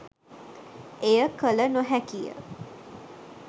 එය කළ නොහැකි ය.